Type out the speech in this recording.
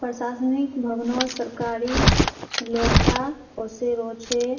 प्रशासनिक भवनोत सरकारी लोकटा ओसे रो छे।